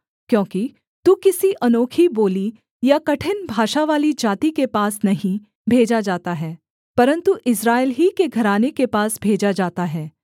क्योंकि तू किसी अनोखी बोली या कठिन भाषावाली जाति के पास नहीं भेजा जाता है परन्तु इस्राएल ही के घराने के पास भेजा जाता है